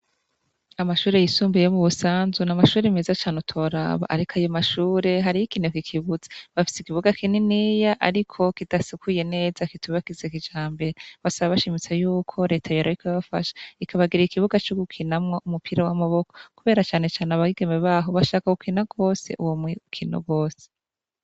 Amashuri yisumbuye yo mu Busanzu ni amashuri meza cane utoraba. Ariko ayo mashure, har'ikinege kibuze, bafise ikibuga kininiya ariko kidasukuye neza kitubakize kijambe. Basaba bashimitse yuko leta yoraba ikabafasha ikabagira ikibuga co gukinamwa umupira w'amaboko kubera cane cane abageme b'aho bashaka gukina uwo mukino gose.